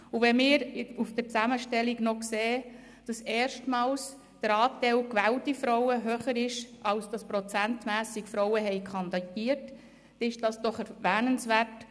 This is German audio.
Wenn wir in der Zusammenstellung sehen, dass erstmals der Anteil gewählter Frauen höher ist als Frauen prozentmässig kandidiert hatten, ist das erwähnenswert.